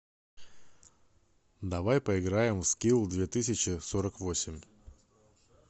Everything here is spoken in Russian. давай поиграем в скилл две тысячи сорок восемь